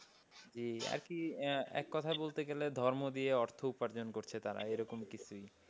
যে আরকি এক কথায় বলতে গেলে ধর্ম দিয়ে অর্থ উপার্জন করছে তারা এরকম কিছুই।